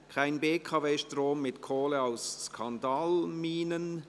«Kein BKW-Strom mit Kohle aus Skandalminen!»